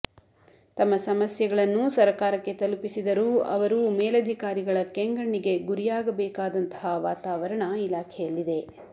ತಮ್ಮ ಸಮಸ್ಯೆಗಳನ್ನು ಸರಕಾರಕ್ಕೆ ತಲುಪಿಸಿದರೂ ಅವರು ಮೇಲಧಿಕಾರಿಗಳ ಕೆಂಗಣ್ಣಿಗೆ ಗುರಿಯಾಗಬೇಕಾದಂತಹ ವಾತಾವರಣ ಇಲಾಖೆಯಲ್ಲಿದೆ